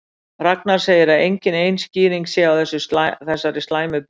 Ragnar segir að engin ein skýring sé á þessari slæmu byrjun.